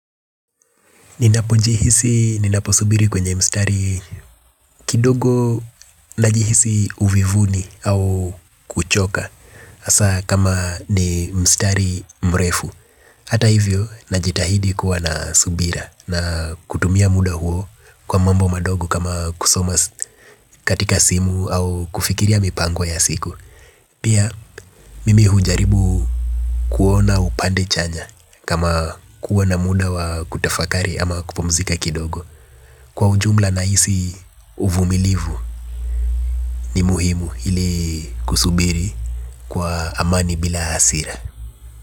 Ninapo jihisi, ninapo subiri kwenye mstari kidogo najihisi uvivuni au kuchoka. Haswa kama ni mstari mrefu hata hivyo, najitahidi kuwa na subira na kutumia muda huo kwa mambo madogo kama kusoma katika simu au kufikiria mipango ya siku. Pia, mimi hujaribu kuona upande chanya kama kuwa na muda wa kutafakari ama kupumzika kidogo. Kwa ujumla nahisi uvumilivu ni muhimu ili kusubiri kwa amani bila hasira.